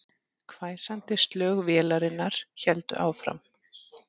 Hvæsandi slög vélarinnar héldu áfram